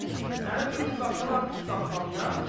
Səni tutub qatırlar dustaqxanaya?